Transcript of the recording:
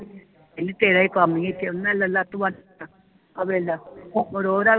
ਕਹਿੰਦੀ ਤੇਰਾ ਹੀ ਕਮ ਹੀ ਇਥੇ ਮੈਂ ਲਾਲਾ ਤੂੰ ਤਾ ਆ ਵੇਖ ਲੈ ਹੁਣ ਓਹਦਾ